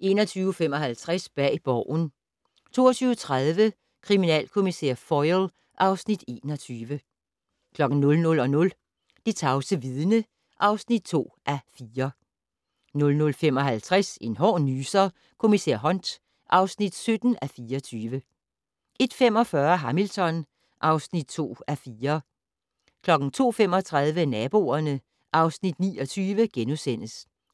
21:55: Bag Borgen 22:30: Kriminalkommissær Foyle (Afs. 21) 00:00: Det tavse vidne (2:4) 00:55: En hård nyser: Kommissær Hunt (17:24) 01:45: Hamilton (2:4) 02:35: Naboerne (Afs. 29)*